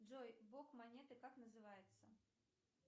джой бок монеты как называется